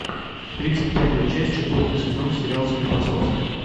тридцать пятая часть четвертый сезон сериал склифосовский